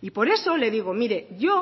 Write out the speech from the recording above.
y por eso le digo mire yo